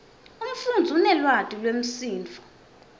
umfundzi unelwati lwemisindvo